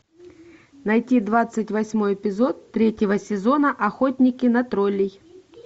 найди двадцать восьмой эпизод третьего сезона охотники на троллей